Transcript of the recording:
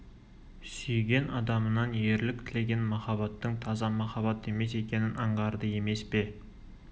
сүйген адамынан ерлік тілеген махаббаттың таза махаббат емес екенін аңғарды емес пе